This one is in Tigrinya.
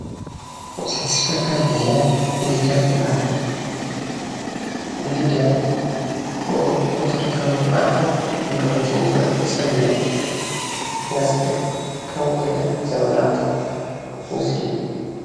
እዛ ተሽክረካሪት እዛኣ ግሊደር ትባሃል፡፡ ግሊደር ንመሰረታዊ ልምዓትን ግልገሎት ንዝውዕል ፅርግያ እናፀረገት ከምዘላ ዘመላክት ምስሊ እዩ፡፡